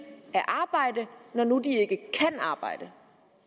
at arbejde når nu de ikke kan arbejde